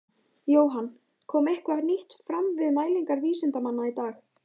Jóhann, kom eitthvað nýtt fram við mælingar vísindamanna í dag?